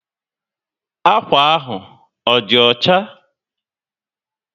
Akwa ahụ á dí ọchá?